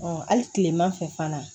hali kilema fɛ fana